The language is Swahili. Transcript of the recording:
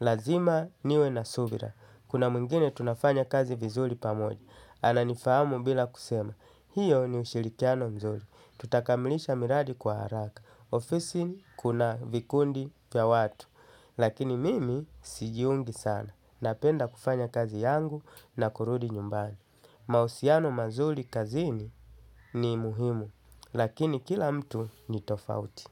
Lazima niwe na subira. Kuna mwingine tunafanya kazi vizuri pamoja, ananifahamu bila kusema. Hiyo ni ushirikiano mzuri. Tutakamilisha miradi kwa haraka. Ofisini kuna vikundi vya watu. Lakini mimi sijiungi sana. Napenda kufanya kazi yangu na kurudi nyumbani. Mahusiano mazuri kazini ni muhimu. Lakini kila mtu ni tofauti.